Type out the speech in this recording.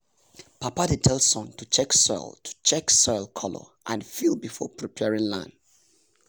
papa dey tell son to check soil to check soil color and feel before preparing land.